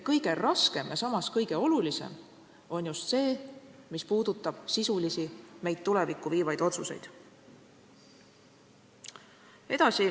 Kõige raskem ja samas kõige olulisem on just see, mis puudutab sisulisi, meid tulevikku viivaid otsuseid.